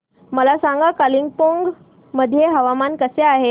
मला सांगा कालिंपोंग मध्ये हवामान कसे आहे